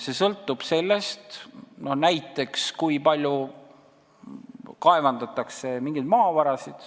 See sõltub näiteks sellest, kui palju kaevandatakse mingeid maavarasid.